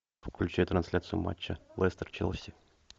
включай трансляцию матча лестер челси